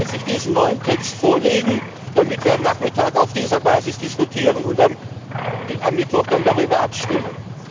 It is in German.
10.30 Uhr diesen neuen Text vorlegen, damit wir am Nachmittag auf dieser Basis diskutieren und am Mittwoch darüber abstimmen.